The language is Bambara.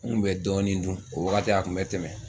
U kun bɛ dɔɔni dun o waagati a kun bɛ tɛmɛ.